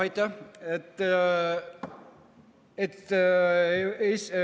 Aitäh!